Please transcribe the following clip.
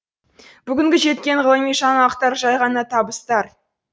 бүгінгі жеткен ғылыми жаңалықтар жай ғана табыстар